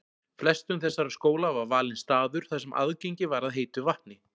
Flestum þessara skóla var valinn staður þar sem aðgengi var að heitu vatni.